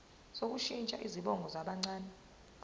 sokushintsha izibongo zabancane